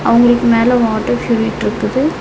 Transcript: அவங்களுக்கு மேல water purifier இருக்குது.